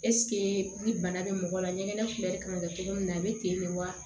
ni bana bɛ mɔgɔ la ɲɛgɛnɛ kun yɛrɛ kan ka kɛ cogo min na a bɛ ten de wa